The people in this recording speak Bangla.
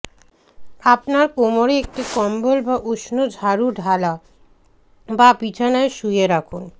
আপনার কোমরে একটি কম্বল বা উষ্ণ ঝাড়ু ঢালা বা বিছানায় শুয়ে রাখুন